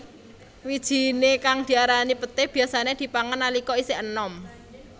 Wijiné kang diarani peté biyasané dipangan nalika isih anom